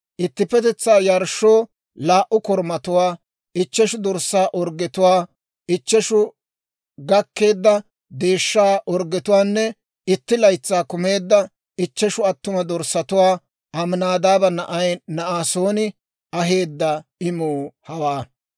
ittippetetsaa yarshshoo laa"u korumatuwaa, ichcheshu dorssaa orggetuwaa, ichcheshu gakkeedda deeshshaa orggetuwaanne itti laytsay kumeedda ichcheshu attuma dorssatuwaa. Aminaadaaba na'ay Na'asooni aheedda imuu hawaa.